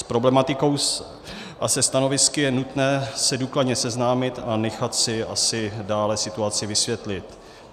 S problematikou a se stanovisky je nutné se důkladně seznámit a nechat si asi dále situaci vysvětlit.